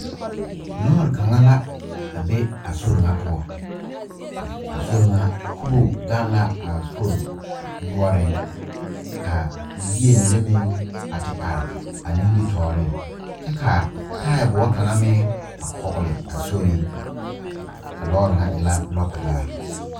Lɔɔre kaŋa la a be a sori ŋa poɔ a sori ŋa kubo gaŋ la a sori noɔreŋ ka yie mine meŋ a te are a nimitɔɔreŋ kyɛ ka taaboɔ kaŋa meŋ a kɔgle a sori a lɔɔre ŋa e la lɔɔpelaa.